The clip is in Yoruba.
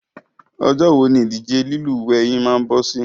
Ọjọ́ wo ni ìdíje lílúwẹ̀ẹ́ yín máa bọ́ sí?